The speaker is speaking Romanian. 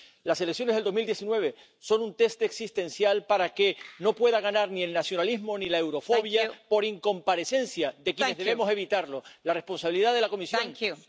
Pentru acest lucru, România trebuie să fie membru Schengen și pentru acest lucru trebuie respectată fiecare țară în parte. O problemă a unei țări, domnule președinte, este, de fapt, o problemă a întregii Europe.